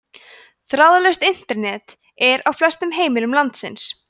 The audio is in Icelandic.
þráðlaust internet er á flestum heimilum landsins